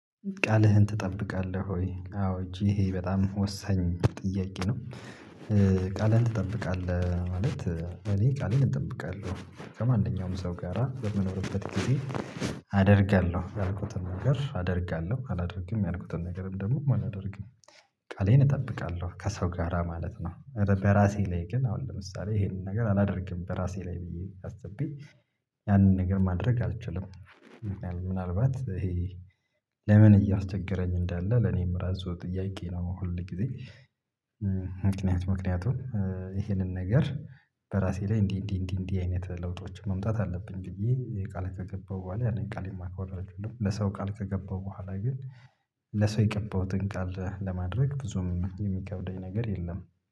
ቃልህን ትጠብቃለህ ወይ? አዎ እጅ ይሄ በጣም ወሳኝ ጥያቄ ነው። ቃልህን ትጠብቃለህ ማለት እኔ ቃሌን እጠብቃለሁ። ከማንኛውም ሰው ጋራ የምኖርበት እኔ አደርጋለሁ ያልኩትን ነገር አደርጋለሁ አላደርግም ያልኩትን ነገርም ደግሞ አላደርግም። ቃሌን እጠብቃለሁ ከሰው ጋራ ማለት ነው። በራሴ ላይ ግን አሁን ለምሳሌ ይሄንን ነገር አላደርግም በራሴ ላይ ብዬ አስቤ ያንን ነገር ማድረግ አልችልም። ምናልባት ይሄ ለምን እያስቸገረኝ እንዳለ ለኔም ራሱ ጥያቄ ነው ሁል ጊዜ። ምክንያት ምክንያቱም ይሄንን ነገር በራሴ ላይ እንዲህ እንዲህ እንዲህ እንዲህ አይነት ለውጦችን መምጣት አለብኝ ብዬ ቃል ከገባው በኋላ ያኔን ቃል ማክበር አይደለም። ለሰው ቃል ከገባው በኋላ ግን ለሰው የገባሁትን ቃል ለማድረግ ብዙም የሚከብደኝ ነገር የለም